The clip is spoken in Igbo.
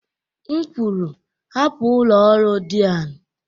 M kwuru, hapụ ụlọ ọrụ Dean